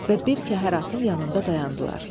Və bir kəhər atın yanında dayandılar.